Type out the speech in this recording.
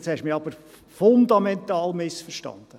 Jetzt haben Sie mich aber fundamental missverstanden.